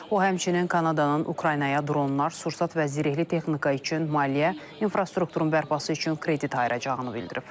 O həmçinin Kanadanın Ukraynaya dronlar, sursat və zirehli texnika üçün maliyyə, infrastrukturun bərpası üçün kredit ayıracağını bildirib.